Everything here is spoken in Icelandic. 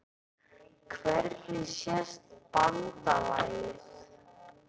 Hvernig sést BANDALAGIÐ?